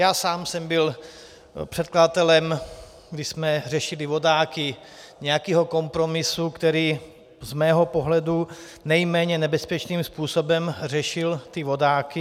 Já sám jsem byl předkladatelem, když jsme řešili vodáky, nějakého kompromisu, který z mého pohledu nejméně nebezpečným způsobem řešil ty vodáky.